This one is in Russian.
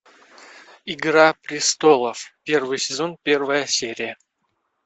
игра престолов первый сезон первая серия